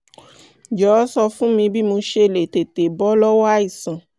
jọ̀wọ́ sọ fún mi bí mo ṣe lè tètè bọ́ lọ́wọ́ àìsàn